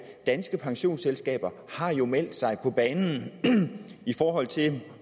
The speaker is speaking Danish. danske pensionsselskaber har jo meldt sig på banen i forhold til